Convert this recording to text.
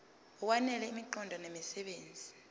ngokwanele imiqondo nemisebenzi